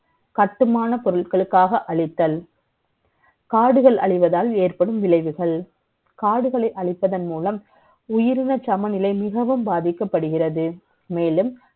கட்டுமான ப ொருட்களுக்காக அளித்தல் காடுகள் அழிவதால் ஏற்படும் விளை வுகள். காடுகளை அழிப்பதன் மூலம், உயிரின சமநிலை மிகவும் பாதிக்கப்படுகிறது. மே லும்